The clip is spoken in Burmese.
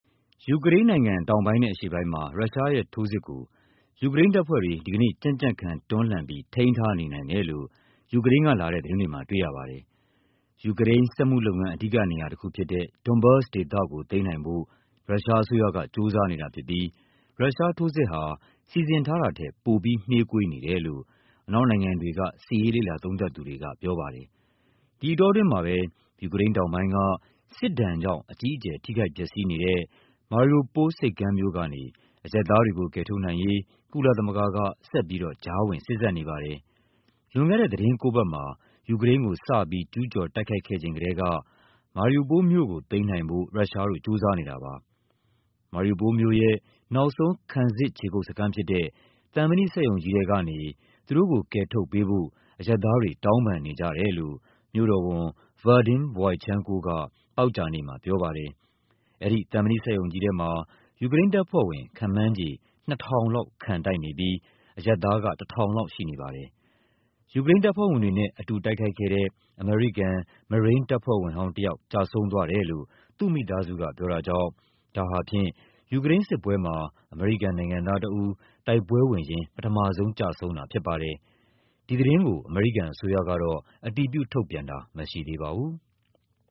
ယူကရိန်းနိုင်ငံ တောင်ပိုင်းနဲ့ အရှေ့ပိုင်းမှာ ရုရှားရဲ့ထိုးစစ်ကို ယူကရိန်းတပ်ဖွဲ့တွေ ဒီကနေ့ ကြံ့ကြံ့ခံ တွန်းလှန်ပြီး ထိန်းထားနေနိုင်တယ်လို့ ယူကရိန်းကလာတဲ့ သတင်းတွေမှာ တွေ့ရပါတယ်။ ယူူကရိန်း စက်မှုလုပ်ငန်း အဓိကနေရာတခုဖြစ်တဲ့ Donbas ဒေသကို သိမ်းနိုင်ဖို့ ရုရှားအစိုးရက ကြိုးစားနေတာဖြစ်ပြီး ရုရှားထိုးစစ်ဟာ စီစဉ်ထားတာထက် ပိုပြီးနှေးကွေးနေတယ်လို့ အနောက်နိုင်ငံတွေက စစ်ရေးလေ့လာသုံးသပ်သူတွေက ပြောပါတယ်။ ဒီအတောအတွင်းမှာပဲ ယူကရိန်းတောင်ပိုင်းက စစ်ဒဏ်ကြောင့် အကြီးအကျယ် ထိခိုက်ပျက်စီးနေတဲ့ Mariupol ဆိပ်ကမ်းမြို့ကနေ အရပ်သားတွေကို ကယ်ထုတ်နိုင်ရေး ကုလသမဂ္ဂက ဆက်ပြီးတော့ ကြားဝင်စေ့စပ်နေပါတယ်။ လွန်ခဲ့တဲ့ သီတင်းကိုးပတ်မှာ ယူကရိန်းကို စပြီး ကျူးကျော်တိုက်ခိုက်ခဲ့ချိန်ကတည်းက Mariupol မြို့ကို သိမ်းနိုင်ဖို့ ရုရှားတို့ ကြိုးစားနေတာပါ။ Mariupol မြို့ရဲ့ နောက်ဆုံး ခံစစ်ခြေကုပ်စခန်းဖြစ်တဲ့ သံမဏိစက်ရုံကြီးထဲကနေ သူတို့ကို ကယ်ထုတ်ပေးဖို့ အရပ်သားတွေ တောင်းပန်နေကြတယ်လို့ မြို့တော်ဝန် Vadym Boichenko က သောကြာနေ့မှာ ပြောပါတယ်။ အဲဒီ သံမဏိစက်ရုံကြီးထဲမှာ ယူကရိန်းတပ်ဖွဲ့ဝင် ခန့်မှန်းခြေ ၂,၀၀၀ လောက် ခံတိုက်နေပြီး အရပ်သားက ၁,၀၀၀ လောက် ရှိနေပါတယ်။ ယူကရိန်းတပ်ဖွဲ့ဝင်တွေနဲ့ အတူတိုက်ခိုက်ခဲ့တဲ့ အမေရိကန် မရိန်းတပ်ဖွဲ့ဝင်ဟောင်းတယောက် ကျဆုံးသွားတယ်လို့ သူ့မိသားစုက ပြောတာကြောင့် ဒါဟာဖြင့် ယူကရိန်းစစ်ပွဲမှာ အမေရိကန်နိုင်ငံသားတဦး တိုက်ပွဲဝင်ရင်း ပထမဆုံး ကျဆုံးတာဖြစ်ပါတယ်။ ဒီသတင်းကို အမေရိကန်အစိုးရကတော့ အတည်ပြု ထုတ်ပြန်တာ မရှိသေးပါဘူး။